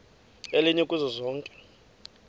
elinye kuzo zonke